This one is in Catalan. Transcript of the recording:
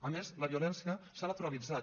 a més la violència s’ha naturalitzat